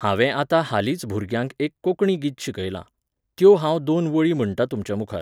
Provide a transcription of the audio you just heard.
हांवें आतां हालींच भुरग्यांक एक कोंकणी गीत शिकयलां, त्यो हांव दोन वळी म्हणटां तुमचेमुखार.